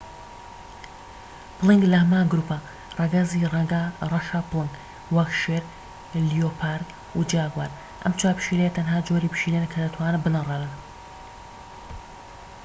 پڵنگ لە هەمان گروپە ڕەگەزی ڕەشە پڵنگ وەک شێر، لیۆپارد، و جاگوار. ئەم چوار پشیلەیە تەنها جۆری پشیلەن کە دەتوانن بنەڕێنن